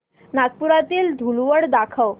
नागपुरातील धूलवड दाखव